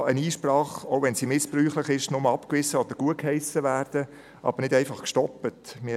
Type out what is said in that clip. Eine Einsprache, auch wenn sie missbräuchlich ist, kann nur abgewiesen oder gutgeheissen, aber nicht einfach gestoppt werden.